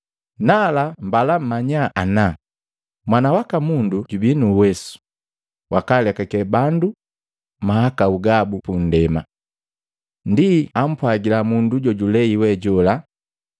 Nala, mbala mmanya ana Mwana waka Mundu jubii nu uwesu wa kwaalekake bandu mahakau gabu pundema.” Ndii ampwagila mundu jojulei we jola,